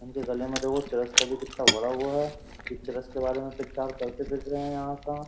उनके गले में देखो चरस का भी कितना बड़ा हुआ है ये चरस के बारे में प्रचार करते फिर है यहाँ का।